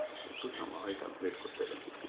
একটু থামো করতে দেও।